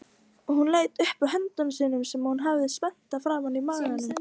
Hún leit upp frá höndum sínum sem hún hafði spenntar framan á maganum.